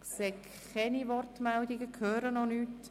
– Ich sehe keine Wortmeldungen und höre auch keine.